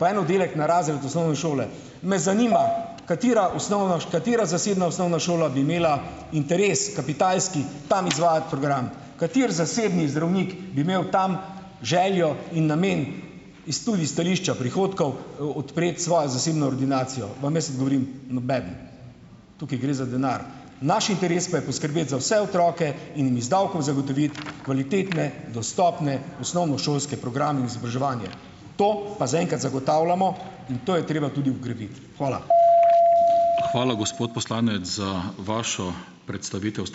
po en oddelek na razred osnovne šole. Me zanima , katera osnovna, katera zasebna osnovna šola bi imela interes, kapitalski, tam izvajati program? Kateri zasebni zdravnik bi imel tam željo in namen, iz tudi stališča prihodkov, odpreti svojo zasebno ordinacijo? Vam jaz odgovorim: nobeden. Tukaj gre za denar. Naš interes pa je poskrbeti za vse otroke in iz davkov zagotoviti kvalitetne, dostopne, osnovnošolske programe in izobraževanje. To pa za enkrat zagotavljamo in to je treba tudi vgraditi. Hvala.